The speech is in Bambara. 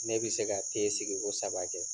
Ne bɛ se ka te sigiko saba kɛ.